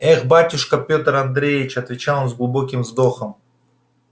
эх батюшка пётр андреич отвечал он с глубоким вздохом